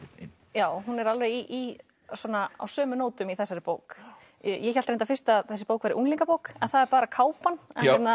já hún er alveg á sömu nótum í þessari bók ég hélt reyndar fyrst að þessi bók væri unglingabók en það er bara kápan